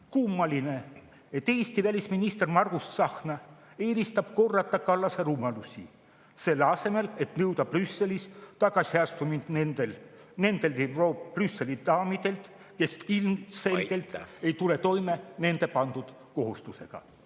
Kummaline, et Eesti välisminister Margus Tsahkna eelistab korrata Kallase rumalusi, selle asemel et nõuda Brüsselis tagasiastumist nendelt Brüsseli daamidelt, kes ilmselgelt ei tule toime nendele pandud kohustusega.